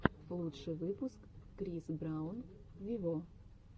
лучший выпуск крис браун вево